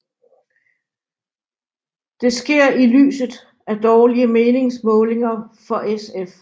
Det sker i lyset af dårlige meningsmålinger for SF